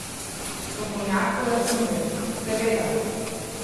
Strokovnjak pojasnjuje: "Seveda.